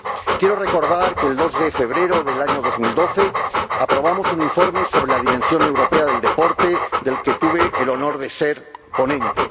Quiero recordar que el 2 de febrero del año 2012 aprobamos un informe sobre la dimensión europea del deporte del que tuve el honor de ser ponente.